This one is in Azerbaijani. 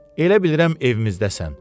Elə bilirəm evimizdəsən.